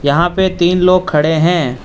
यहां पे तीन लोग खड़े हैं।